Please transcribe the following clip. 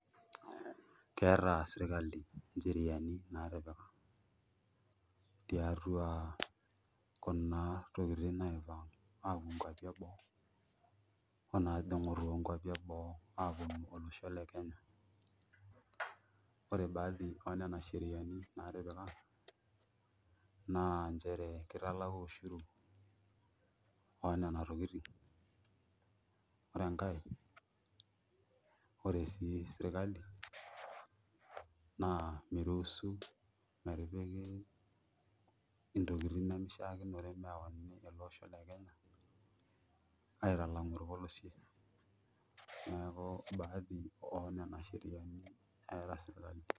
Keeta sirkali ncheriani naatipika tiatua kuna tokitin naipang' aapuo nkuapi eboo oonaajing'u toonkuapi eboo aaponu ore baadhi oo nena sheriani naatipika naa nchere kitalaku ushuru oo nena tokitin ore enkae ore sii sirkali naa miruusu ntokitin nemishiakinore meyauni ele osho le Kenya aitalang'u orpolosie neeku baadhi oonena sheriani.